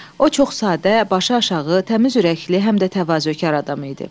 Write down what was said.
O çox sadə, başı aşağı, təmiz ürəkli, həm də təvazökar adam idi.